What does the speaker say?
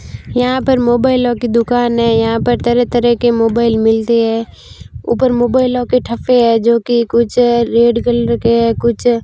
यहां पर मोबाइलों की दुकान है यहां पर तरह-तरह के मोबाइल मिलते हैं ऊपर मोबाइलों के ठप्पे है जो की कुछ रेड कलर के हैं कुछ --